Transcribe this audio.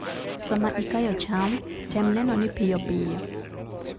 Sama ikayo cham, tem neno ni piyo piyo.